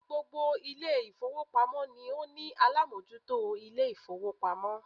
Gbogbo Ilé ìfowópamọ́ ni ó ní alámójútó Ilé ìfowópamọ́